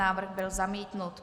Návrh byl zamítnut.